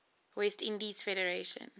west indies federation